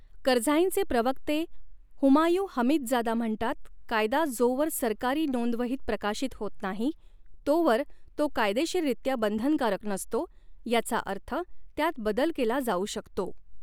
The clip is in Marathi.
करझाईंचे प्रवक्ते हुमायूँ हमीदजादा म्हणतात, कायदा जोवर सरकारी नोंदवहीत प्रकाशित होत नाही, तोवर तो कायदेशीररित्या बंधनकारक नसतो, याचा अर्थ त्यात बदल केला जाऊ शकतो.